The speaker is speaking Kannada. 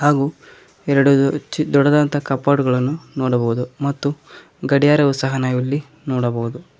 ಹಾಗು ಎರಡು ದ ಚ್ ದೊಡದಾದಂತ ಕಫಾಟಗಳನ್ನು ನೋಡಬಹುದು ಮತ್ತು ಗಡಿಯಾರವು ಸಹ ನಾವಿಲ್ಲಿ ನೋಡಬಹುದು.